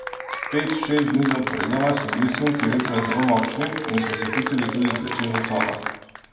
Pet, šest dni zaporedoma so bili sunki vetra zelo močni in so se čutili tudi zvečer v sobah.